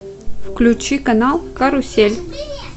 включи канал карусель